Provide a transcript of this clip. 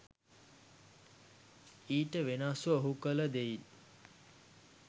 ඊට වෙනස්ව ඔහු කළ දෙයින්